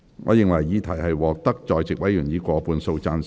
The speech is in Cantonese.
我認為議題獲得在席委員以過半數贊成。